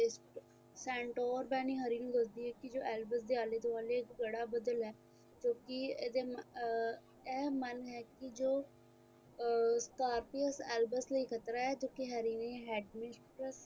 sandories banny hurry ਨੂੰ ਦੱਸਦੀ ਏ ਕੀ ਜੋ albert ਦੇ ਆਲੇ-ਦੁਆਲੇ ਘੜਾ ਬੱਦਲ ਹੈਂ ਕਿਉਂਕਿ ਏਹਦੇ ਅਰ ਇਹ ਮਨ ਹੈ ਇਹ ਕੀ ਜੋ ਅਰ albert ਲਈ ਖ਼ਤਰਾ ਹੈ ਜੋ ਕਿ harry ਨੇ headmistress